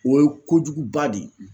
O ye kojuguba de ye